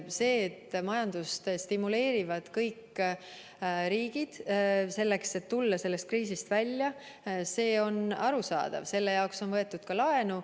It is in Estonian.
See, et majandust stimuleerivad kõik riigid, et tulla kriisist välja, on arusaadav, selle jaoks on võetud ka laenu.